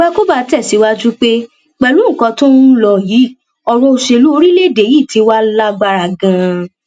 àgbàkóbá tẹsíwájú pé pẹlú nǹkan tó ń ń lò yìí ọrọ òṣèlú orílẹèdè yìí tí wàá lágbára ganan